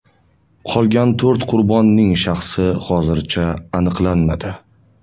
Qolgan to‘rt qurbonning shaxsi hozircha aniqlanmadi.